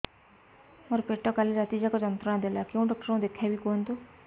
ମୋର ପେଟ କାଲି ରାତି ଯାକ ଯନ୍ତ୍ରଣା ଦେଲା କେଉଁ ଡକ୍ଟର ଙ୍କୁ ଦେଖାଇବି କୁହନ୍ତ